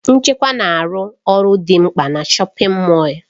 Nchekwa na-arụ ọrụ dị mkpa na shọpin Mọll.